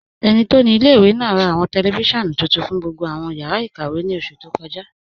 Ẹni tó ni ilẹ̀-ìwé náà rà awọn tẹlifisiọ̀nù tuntun fún gbogbo awọn yàrá ikàwé ní oṣù tó kọ́ja.